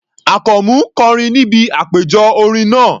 Àkànmú kọrin níbi àpéjọ orin náà.